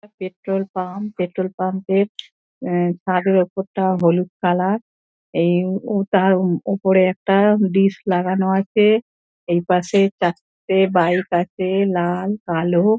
একটা petrol pump. Petrol পাম্পের এ ছাদের ওপরটা হলুদ কালার এ-ই তার ওপরে একটা ডিশ লাগানো আছে। এই পাশে চারটে বাইক আছে লাল কালো।